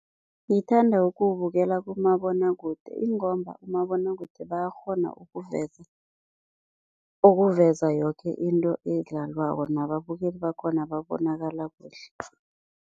Ngithanda ukuwubukela kumabonwakude ingomba umabonwakude bayakghona ukuveza ukuveza yoke into edlalwako nababukeli bakhona babonakala kuhle.